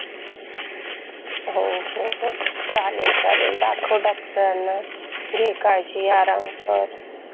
हो चालेल चालेल दाखव डॉक्टरांना घे काळजी, आराम कर.